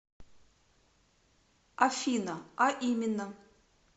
афина а именно